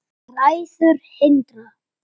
Bræður Hindar